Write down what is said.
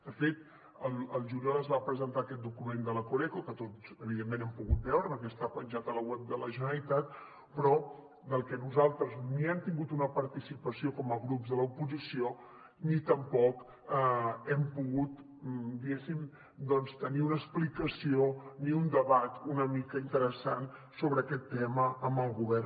de fet al juliol es va presentar aquest document de la coreco que tots evidentment hem pogut veure perquè està penjat a la web de la generalitat però nosaltres ni hi hem tingut una participació com a grups de l’oposició ni tampoc hem pogut diguéssim doncs tenir una explicació ni un debat una mica interessant sobre aquest tema amb el govern